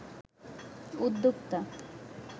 উদ্যোক্তা